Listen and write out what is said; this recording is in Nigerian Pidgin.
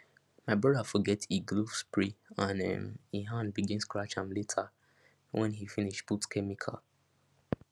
my brother forget e glove spray and um e hand begin scratch am later when he finish put chemical